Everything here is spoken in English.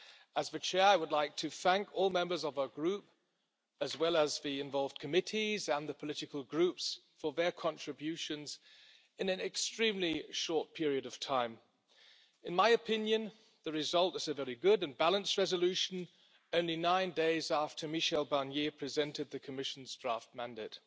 As the Chair, I would like to thank all members of our group, as well as the involved Committees and the political groups, for their contributions in an extremely short period of time. In my opinion, the result is a very good and balanced resolution only nine days after Michel Barnier presented the Commission's draft mandate.